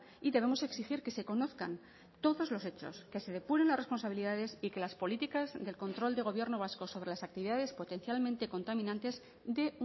y debemos exigir que se conozcan todos los hechos que se depuren responsabilidades y que las políticas de control del gobierno vasco sobre las actividades potencialmente contaminantes de